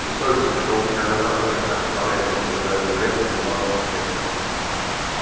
бессовестный что у меня за пазухой то побрякивает возразил урядник нимало не смутясь